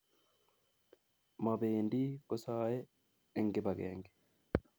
Mobendi kosaei eng kibagenge